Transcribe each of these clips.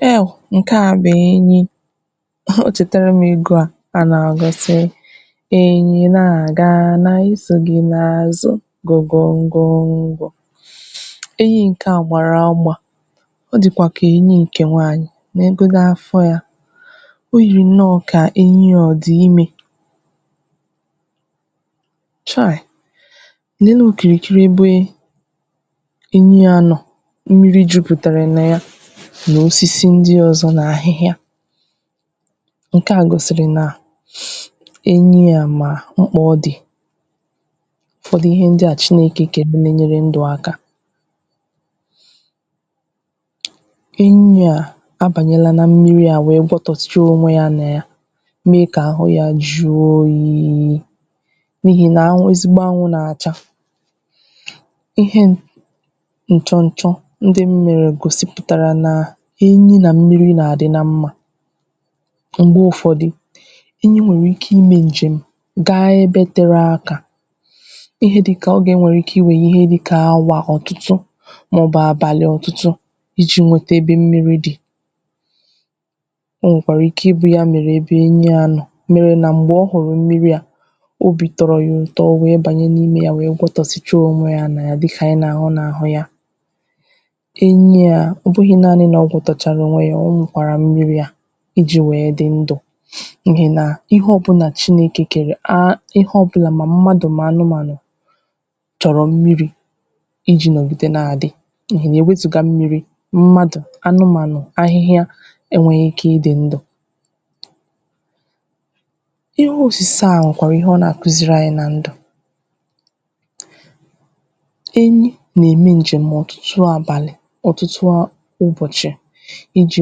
Nehụ̀ nke à bụ̀ enyì ọ chetarà m egwu à ha na-abụ̀ sì enyi na-aga n’anyị̀ so gi n’azụ gwọgwȯngwọ̀ enyi nke à gbara agba ọ dịkwà ka enyi nke nwaanyị̀ negodù afọ̀ yà o yiri nọọ ka enyi à ọ dị imè chai! nenù okirikiri ebe enyi à nọ̀ mmiri juputarà na yà na osisi ndị ọzọ̀ na ahịhịà nke à gosirinà enyi a mà m̄kpà ọ dị̀ ụfọdụ̀ ihe ndị à Chineke kerè na-enyere ndụ̀ akà enyi a abanyelà na mmiri à wee gwọtọsịchà onwe ya na yà mee ka ahụ ya juo oyiì n’ihi na ezigbo anwụ̀ na-achà ihe m nchọnchọ̀ ndị̀ m mere gosiputarà naa enyi na mmiri na-adị̀ na mma mgbe ụfọdụ̀ enyi nwere ike ime njem ga ebe tere akà ihe dịkà oge nwere ike iwe ihe dịkà awa ọtụtụ̀ maọ̀bụ̀ abalị̀ ọtụtụ̀ iji nwete ebe mmiri dị̀ o nwekwara ike ịbụ̀ ya mere ebe enyi à nọ̀ mere mgbe ọ hụrụ̀ mmiri à obì tọrọ ya ụtọ o wee banye n’ime ya wee gwọtọsịchà onwe ya na ya dịkà anyị̀ na-ahụ̀ n’ahụ ya enyi à ọ bụghị̀ naanị̀ na ọgwọtọcharà onwe ya, ọ n̄ụkwarà mmiri à iji wee dị̀ ndụ̀ ihi nà ihe ọbụnà Chineke kere a ihe ọbụla, ma mmadụ̀ ma anụmanụ̀ chọrọ̀ mmiri iji nọgide na-adị̀ n’ihi na-ewezugà mmiri mmadụ̀ anụmanụ̀ ahịhịà enweghì ike ịdị̀ ndụ̀ ihe osise à nwekwarà ihe ọ na-akuziri anyị̀ na ndụ̀ enyi na-eme njem ọtụtụ abalị̀ ọtụtụ a mbọchị̀ iji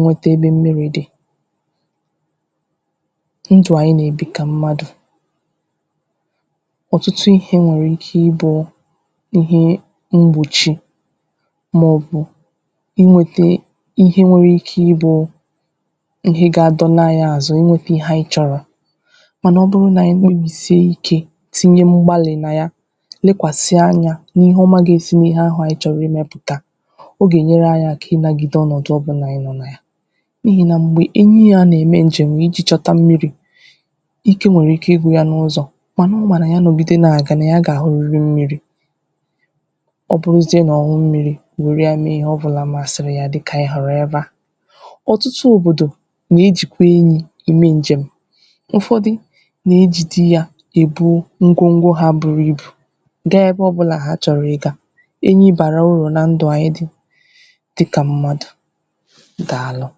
nwete ebe mmiri dị̀ ndụ̀ à anyị̀ na-ebi ka mmadụ̀ ọtụtụ ihe nwere ike ịbụ̀ ihee mgbochì maọ̀bụ̀ inwetee ihe nwere ike ibụụ̀ ihe ga-adọna anyị̀ azụ̀ inwete ihe anyị̀ chọrọ̀ manà ọ bụrụ̀ na anyị̀ anọrọsie ike tinye mgbalị̀ na yà nekwasịà anyà n’ihe ọmà ga-esi n’ihe ahụ̀ anyị̀ chọrọ̀ ime pụtà ọ ga-enyere anyị̀ akà ịnagide ọnọdụ̀ ọbụlà anyị̀ nọ̀ na yà n’ihi na mgbe enyi à na-eme njem iji chọtà mmiri ike nwere ike ịgwụ̀ yà n’ụzọ̀ manà ọ marà yà nọgide na ya, na ya ga-ahụrịrị̀ mmiri ọ bụrụzie na ọn̄ụ̀ mmiri were ya mee ihe ọbụlà masịrị̀ yà dịkà anyị̀ hụrụ̀ ebe à ọtụtụ òbodò na-ejikwà enyì eme njem ụfọdụ̀ na-ejide yà ebuù ngwongwo ha buru ibū gaa ebe ọbụlà ha chọrọ̀ ịga enyì barà uru na ndụ̀ anyị̀ dị̀ dịkà mmadụ̀. Daalụ̀!